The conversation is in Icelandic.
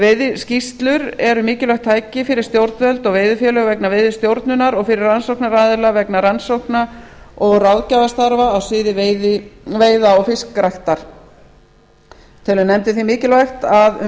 veiðiskýrslur eru mikilvægt tæki fyrir stjórnvöld og veiðifélög vegna veiðistjórnunar og fyrir rannsóknaraðila vegna rannsókna og ráðgjafarstarfa á sviði veiða og fiskræktar telur nefndin því mikilvægt að um